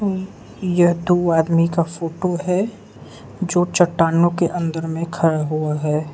ऊं ये दो आदमी का फोटो है जो चट्टानों के अंदर में खड़ा हुआ है।